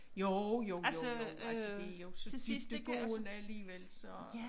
Jo jo jo altså det jo så dybdegående alligevel så